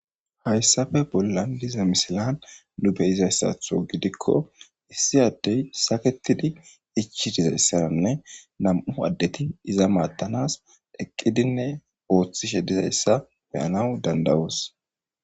Hayssafe bollan diza misilan nu beyizayssatho gidikko issi addey saketidi ichi dizayssananne nam'u addeti iza maattanas eqqidinne oothishe dizayssa beyanawu dandawoos.